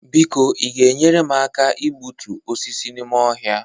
biko Ị ga-enyere m aka igbutu osisi n'ime ọhịa?